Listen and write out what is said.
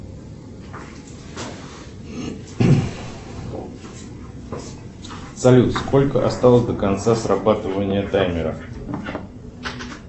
салют сколько осталось до конца срабатывания таймера